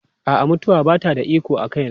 A'a, mutuwa ba ta da iko a kaina.